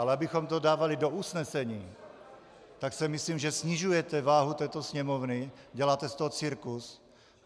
Ale abychom to dávali do usnesení, tak si myslím, že snižujete váhu této Sněmovny, děláte z toho cirkus.